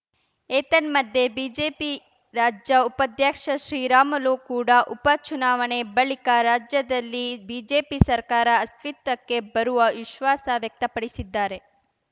ಏತನ್ಮಧ್ಯೆ ಬಿಜೆಪಿ ರಾಜ್ಯ ಉಪಾಧ್ಯಕ್ಷ ಶ್ರೀರಾಮುಲು ಕೂಡ ಉಪ ಚುನಾವಣೆ ಬಳಿಕ ರಾಜ್ಯದಲ್ಲಿ ಬಿಜೆಪಿ ಸರ್ಕಾರ ಅಸ್ವಿತ್ವಕ್ಕೆ ಬರುವ ವಿಶ್ವಾಸ ವ್ಯಕ್ತಪಡಿಸಿದ್ದಾರೆ